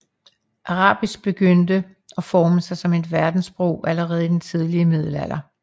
Arabisk begyndte at forme sig som verdenssprog allerede i den tidlige middelalder